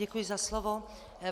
Děkuji za slovo.